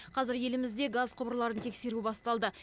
қазір елімізде газ құбырларын тексеру басталды